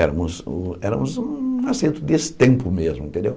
Éramos éramos um assento desse tempo mesmo, entendeu?